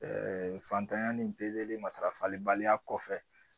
fantanya ni pezeli matarafali baliya kɔfɛ